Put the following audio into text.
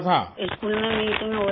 school میں meeting ہو رہی تھی